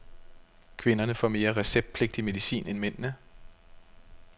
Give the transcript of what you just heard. Kvinderne får mere receptpligtig medicin end mændene.